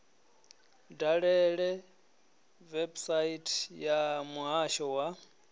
dalele website ya muhasho wa